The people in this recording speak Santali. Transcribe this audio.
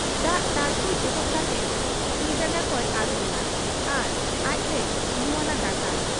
ᱫᱟᱜ ᱛᱟᱹᱬᱠᱩᱡ ᱚᱰᱚᱠ ᱠᱟᱛᱮ ᱛᱤᱡᱟᱸᱜᱟ ᱠᱚᱭ ᱟᱹᱨᱩᱵ ᱮᱱᱟ ᱟᱨ ᱟᱡᱛᱮᱭ ᱞᱩᱣᱟᱱᱟ ᱫᱟᱠᱟ ᱾